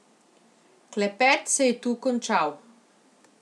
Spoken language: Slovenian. Klepet se je tu končal.